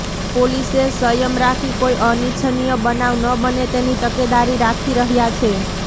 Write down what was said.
પોલીસે સયમ રાખી કોઇ અનિચ્છનીય બનાવ ન બને તેની તકેદારી રાખી રહ્યા છે